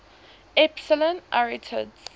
epsilon arietids